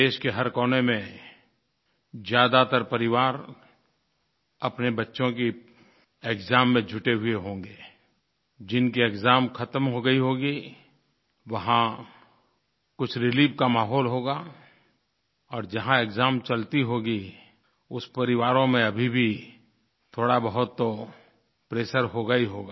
देश के हर कोने में ज़्यादातर परिवार अपने बच्चों की एक्साम में जुटे हुए होंगे जिनके एक्साम ख़त्म हो गए होंगे वहाँ कुछ रिलीफ का माहौल होगा और जहाँ एक्साम चलते होंगे उन परिवारों में अभी भी थोड़ाबहुत तो प्रेशर होगा ही होगा